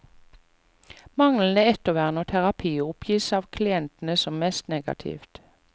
Manglende ettervern og terapi oppgis av klientene som mest negativt.